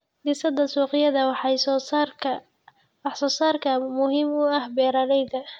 Dhisidda suuqyada wax-soo-saarka ayaa muhiim u ah beeralayda.